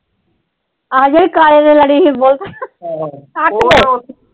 ਆ ਜਿਹੜੀ ਕਾਲੇ ਦੇ ਲੜੀ ਸੀ ਬਹੁਤ ਕੱਟ ਗਈ।